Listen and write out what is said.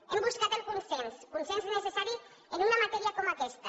hem buscat el consens consens necessari en una matèria com aquesta